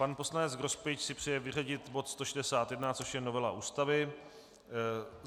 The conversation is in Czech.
Pan poslanec Grospič si přeje vyřadit bod 161, což je novela Ústavy.